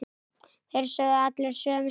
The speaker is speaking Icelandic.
Þeir sögðu allir sömu söguna.